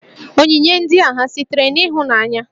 Onyinye ndị a ha sitere n'ịhụnanya?